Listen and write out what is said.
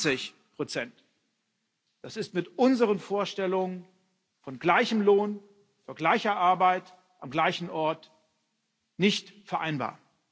20 Das ist mit unseren Vorstellungen von gleichem Lohn für gleiche Arbeit am gleichen Ort nicht vereinbar.